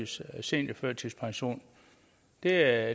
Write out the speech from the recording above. seniorførtidspension det er